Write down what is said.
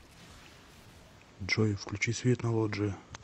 джой включи свет на лоджии